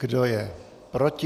Kdo je proti?